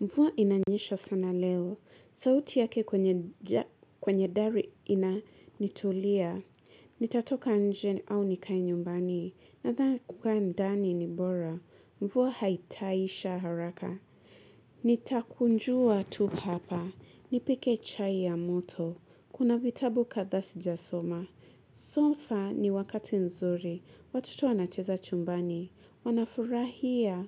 Mvua inanyesha sana leo. Sauti yake kwenye dari inanitulia. Nitatoka nje au nikae nyumbani. Nadhanai kukaa ndani ni bora. Mvua haitaisha haraka. Nitakunjua tu hapa. Nipike chai ya moto. Kuna vitabu kadhaa sijasoma. Sasa ni wakati nzuri. Watoto wanacheza chumbani. Wanafurahia.